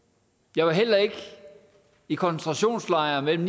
jeg var heller ikke i koncentrationslejre mellem